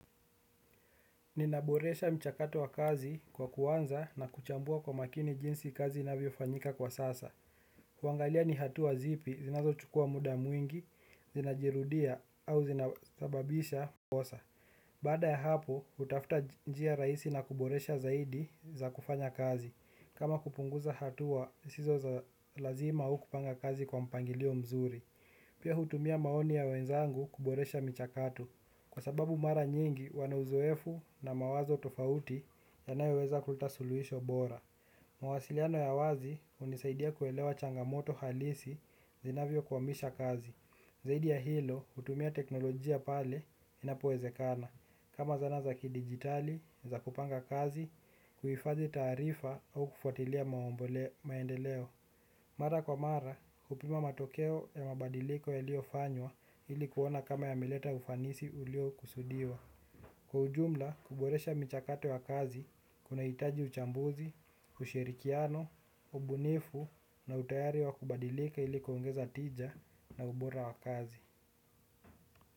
Ninaboresha mchakato wa kazi kwa kuanza na kuchambua kwa makini jinsi kazi inavyo fanyika kwa sasa. Kuangalia ni hatua zipi, zinazochukua muda mwingi, zinajirudia au zinazababisha mbosa. Badaa ya hapo, hutafuta njia rahisi na kuboresha zaidi za kufanya kazi. Kama kupunguza hatua, zisizo za lazima au kupanga kazi kwa mpangilio mzuri. Pia hutumia maoni ya wenzangu kuboresha michakato. Kwa sababu mara nyingi wana uzoefu na mawazo tofauti yanayo weza kuleta suluhisho bora. Mawasiliano ya wazi hunisaidia kuelewa changamoto halisi zinavyo kwamisha kazi. Zaidi ya hilo hutumia teknolojia pale inapowezekana. Kama zana za kidigitali, za kupanga kazi, kuhifadhi taarifa au kufuatia maendeleo. Mara kwa mara, kupima matokeo ya mabadiliko yaliyko fanywa ili kuona kama yameleta ufanisi ulio kusudiwa. Kwa sababu mara nyingi huwa na uzoefu na mawazo tofauti yanayo weza kuleta suluhisho bora.